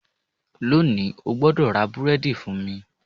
Lónìí, o gbọ́dọ̀ ra búrẹ́dì fún mi